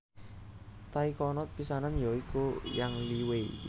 Taikonot pisanan ya iku Yang Liwei